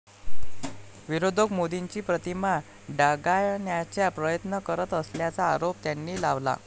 विरोधक मोदींची प्रतिमा डागाळण्याचा प्रयत्न करत असल्याचा आरोप त्यांनी लावला.